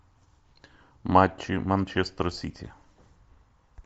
матчи манчестер сити